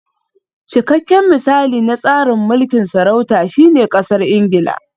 Cikakken misali na tsarin mulkin sarauta shine Ƙasar Ingila